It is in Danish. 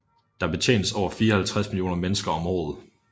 Der betjenes over 54 millioner mennesker om året